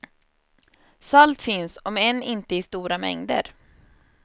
Salt finns om än inte i stora mängder.